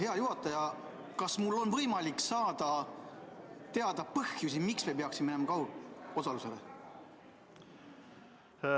Hea juhataja, kas mul on võimalik saada teada põhjusi, miks me peaksime üle minema kaugosalusele?